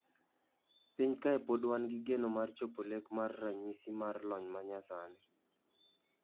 Piny kae pod wangi geno mar chopo lek mar ranyisi mar lony manyasani